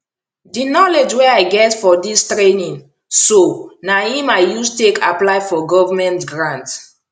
di knowledge wey i get for dis training so na im i use take apply for govment grant